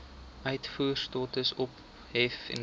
uitvoerstatus ophef indien